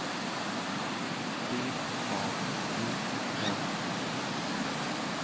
D A G N Y